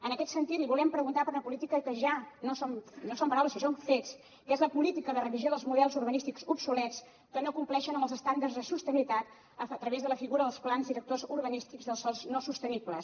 en aquest sentit li volem preguntar per una política que ja no són paraules sinó que són fets que és la política de revisió dels models urbanístics obsolets que no compleixen amb els estàndards de sostenibilitat a través de la figura dels plans directors urbanístics dels sòls no sostenibles